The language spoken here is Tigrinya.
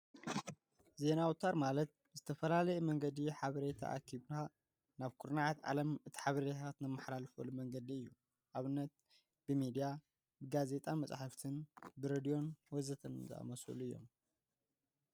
ዜና ወተር ማለት ብዝተፈላለዩ መንገዲ ሓበሬታ ኣኪብካ ናብ ኩርናዓት ዓለም እቲ ሓበሬታታት እተመሓላልፈሉ መንገዲ እዩ፡፡ ኣብነት ብሚድያ ፣ብጋዜጣን፣ መፃሓፍትን ብሬድዩን ወዘተ ዝኣምሰሉ እዮም፡፡